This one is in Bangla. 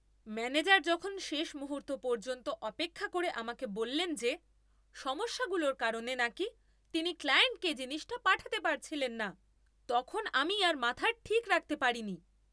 ম্যানেজার যখন শেষ মুহূর্ত পর্যন্ত অপেক্ষা করে আমাকে বললেন যে সমস্যাগুলোর কারণে নাকি তিনি ক্লায়েন্টকে জিনিসটা পাঠাতে পারছিলেন না, তখন আমি আর মাথার ঠিক রাখতে পারিনি!